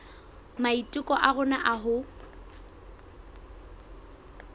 maiteko a rona a ho